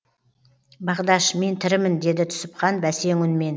бағдаш мен тірімін деді түсіпхан бәсең үнмен